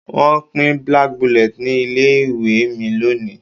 Wọ́n pín black bullet ní ilé ìwé mi lónìí